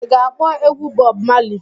I ga-akpọ egwu Bob Marley?